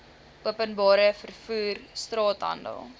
openbare vervoer straathandel